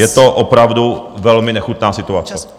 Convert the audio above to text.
Je to opravdu velmi nechutná situace!